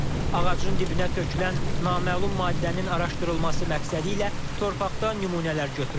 Ağacın dibinə tökülən naməlum maddənin araşdırılması məqsədilə torpaqda nümunələr götürüldü.